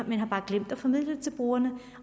man har bare glemt at formidle til brugerne